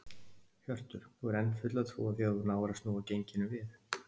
Hjörtur: Þú hefur enn fulla trú á því að þú náir að snúa genginu við?